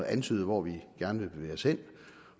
at antyde hvor vi gerne vil bevæge os hen